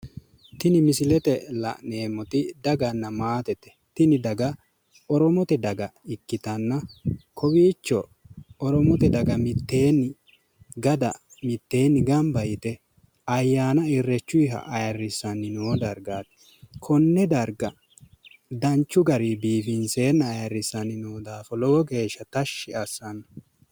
Tini misilete la'neemmoti daganna maatete. Tini daga oromote daga ikkitanna kowiicho oromote daga mitteenni gada gamba yite ayyaana irreechunniha ayirrissanni noo dargaati. Kinne darga danchu garinni biifinseenna ayirrinseenna noo daafo lowo geeshsha tashshi assanno.